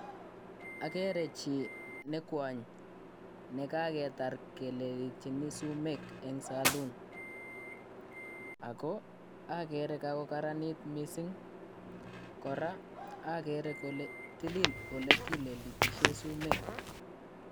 Akere chii ne kwony ne kaketar keletyini sumeek eng saloon, ako agere kakokararanit mising, kora akere kole tilil ole kilelitisie sumeek.